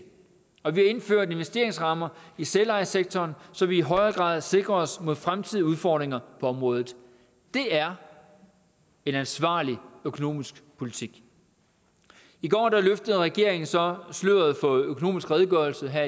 og vi har indført investeringsrammer i selvejesektoren så vi i højere grad sikrer os mod fremtidige udfordringer på området det er en ansvarlig økonomisk politik i går løftede regeringen så sløret for økonomisk redegørelse her